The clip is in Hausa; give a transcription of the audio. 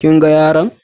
Kin gan yalon?